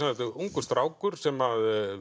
þetta er ungur strákur sem